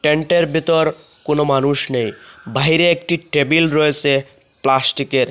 টেন্টের ভিতর কোনো মানুষ নেই বাহিরে একটি টেবিল রয়েসে প্লাস্টিকের।